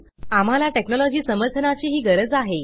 आम्हाला टेक्नॉलजी समर्थनाची ही गरज आहे